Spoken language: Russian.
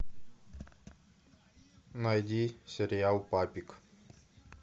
найди сериал папик